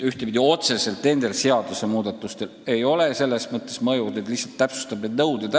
Ühtepidi nendel seadusmuudatustel selles mõttes mõju ei ole, et me lihtsalt täpsustame neid nõudeid.